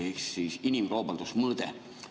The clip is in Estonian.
Ehk siis inimkaubanduse mõõde.